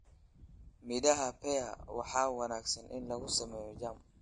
Midhaha pear waa wanaagsan in lagu sameeyo jam.